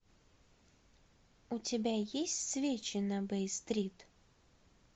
у тебя есть свечи на бей стрит